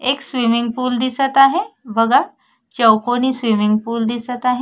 एक swimming pool दिसत आहे बघा चौकोणी स्विमिंग पूल दिसत आहे.